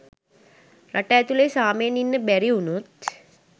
රට ඇතුලේ සාමෙන් ඉන්න බැරි වුනොත්